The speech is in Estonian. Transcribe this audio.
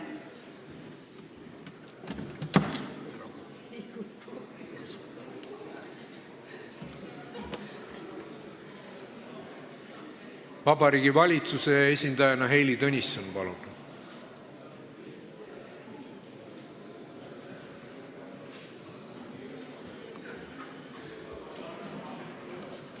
Vabariigi Valitsuse esindajana Heili Tõnisson, palun!